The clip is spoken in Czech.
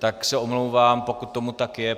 Tak se omlouvám, pokud tomu tak je.